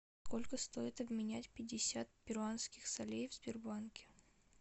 сколько стоит обменять пятьдесят перуанских солей в сбербанке